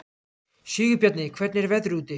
Sigurbjarni, hvernig er veðrið úti?